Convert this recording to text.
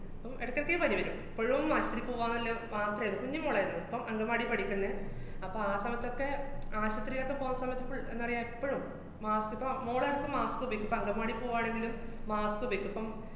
~പ്പം എടയ്‌ക്കെടെയ്ക്ക് പനി വരും. എപ്പഴും ആശൂത്രീ പോവാന്നല്ല് മാത്രേള്ളു. കുഞ്ഞിമോളാര്ന്നു. ഇപ്പം അംഗന്‍വാടീ പഠിക്കുന്നെ. അപ്പ ആ സമയത്തിലൊക്കെ ആശൂത്രീലൊക്കെ പോണ സമയത്ത് full ന്താ പറയാ, എപ്പഴും mask ഇപ്പ മോളെടത്ത് mask ഉപയോഗിക്കും, ഇപ്പ അംഗന്‍വാടി പൂവാണെങ്കിലും mask ഉപയോഗിക്കും. അപ്പം